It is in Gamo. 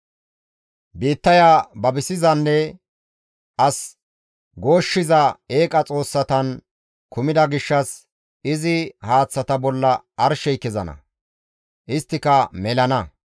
Biittaya babisizanne as gooshshiza eeqa xoossatan kumida gishshas izi haaththata bolla arshey kezana; isttika melana.